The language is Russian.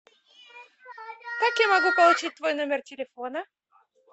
как я могу получить твой номер телефона